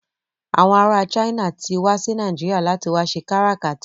Àwọn ará China ti wá sí Nàìjíríà láti wá ṣe káràkátà.